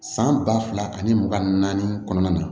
San ba fila ani mugan ni naani kɔnɔna na